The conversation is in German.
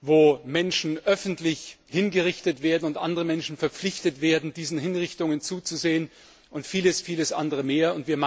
Wo Menschen öffentlich hingerichtet werden und andere Menschen verpflichtet werden, diesen Hinrichtungen zuzusehen, und vieles andere mehr.